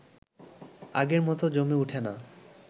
আগের মতো জমে উঠে না